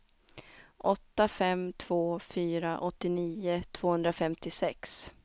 åtta fem två fyra åttionio tvåhundrafemtiosex